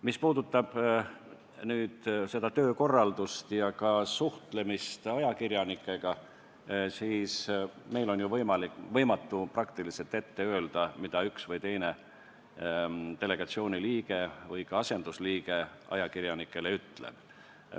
Mis puudutab töökorraldust ja suhtlemist ajakirjanikega, siis meil on ju praktiliselt võimatu ette öelda, mida üks või teine delegatsiooni liige või ka asendusliige ajakirjanikele ütleb.